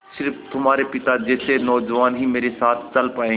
स़िर्फ तुम्हारे पिता जैसे नौजवान ही मेरे साथ चल पायेंगे